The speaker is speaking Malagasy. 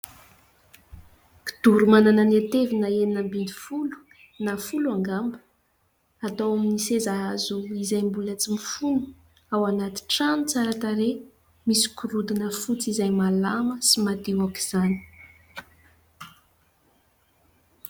Kidoro mananan ny hatevina enina ambin'ny, na folo angamba ; atao amin'ny seza hazo izay mbola tsy mifono, anaty trano tsara tarehy. Misy gorodona fotsy izay malama sy madio aoka izany.